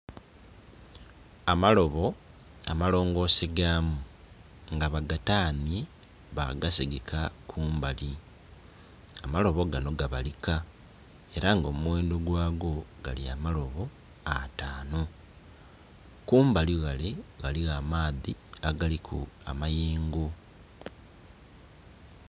amalobo amalongose gaamu nga bagataanye, bagasigika mumbali. Amalobo gano gabalika era nga omughendho gaagwo, gali amolobo ataano. kumalighale ghalgho amaadhi agaliku amayengo.